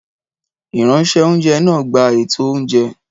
Ìránṣẹ́-oúnjẹ náà gba ètò oúnjẹ